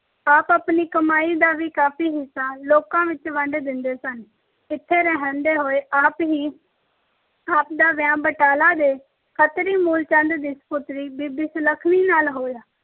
ਆਪ ਆਪਣੀ ਕਮਾਈ ਦਾ ਵੀ ਕਾਫੀ ਹਿੱਸਾ ਲੋਕਾਂ ਵਿੱਚ ਵੰਡ ਦਿੰਦੇ ਸਨ। ਇੱਥੇ ਰਹਿੰਦੇ ਹੋਏ ਆਪ ਹੀ ਆਪ ਦਾ ਵਿਆਹ ਬਟਾਲਾ ਦੇ ਖੱਤਰੀ ਮੂਲ ਚੰਦ ਦੀ ਸਪੁੱਤਰੀ ਬੀਬੀ ਸੁਲੱਖਣੀ ਨਾਲ ਹੋਇਆ।